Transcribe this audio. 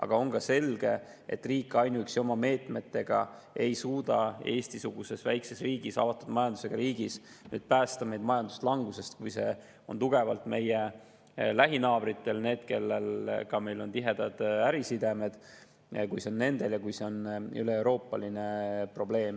Aga on ka selge, et Eesti-sugune väike riik, avatud majandusega riik ei suuda ainuüksi oma meetmetega päästa end majanduslangusest, kui see on tugevalt meie lähinaabritel, kellega meil on tihedad ärisidemed, ja kui see on üleeuroopaline probleem.